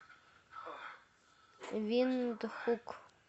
виндхук